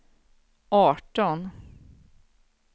arton